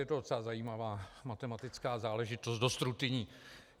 Je to docela zajímavá matematická záležitost, dost rutinní.